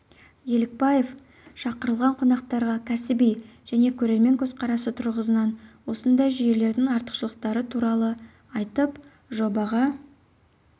елікбаев шақырылған қонақтарға кәсіби және көрермен көзқарасы тұрғысынан осындай жүйелердің артықшылықтары туралы айтып жобаға